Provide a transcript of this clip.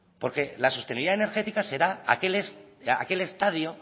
porque la sostenibilidad energética será aquel estadio